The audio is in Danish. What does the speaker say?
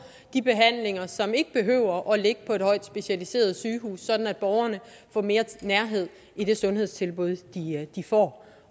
de behandlinger som ikke behøver at ligge på et højt specialiseret sygehus sådan at borgerne får mere nærhed i det sundhedstilbud de får